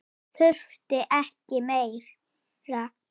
Þurfti ekki meira.